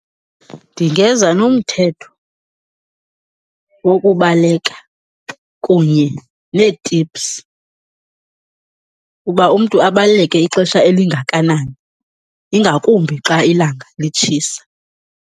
Ndingeza nomthetho wokubaleka kunye nee-tips uba umntu abaleke ixesha elingakanani, ingakumbi xa ilanga litshisa.